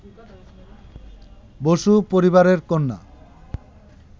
বসু পরিবারের কন্যা